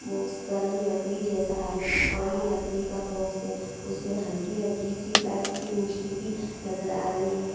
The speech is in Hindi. वो उसका रंग लकड़ी जैसा है और ये लकड़ी का बॉक्स है। उसमें हल्की-हल्की सी लाइट की रोशनी भी नजर आ रही है।